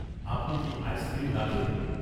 আপনি কি আইসক্রিম রাখেন?